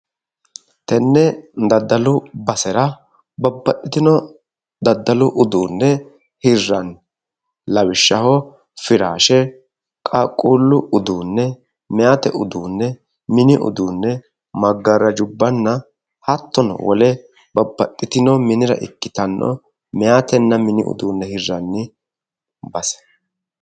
Tenne daddallu basera babbaxitino daddallu uduune hiranni lawishaho firaashe, qaaquullu uduune, mayate uduune, minni uduune, magaarajubbanna hattono wole babbaxitino minnira ikkittano mayatenna minni uduune hiranni base.